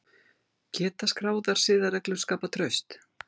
Geta skráðar siðareglur skapað traust?